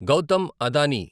Gautam Adani